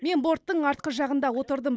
мен бордтың артқы жағында отырдым